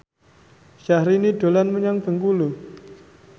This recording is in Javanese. Syahrini dolan menyang Bengkulu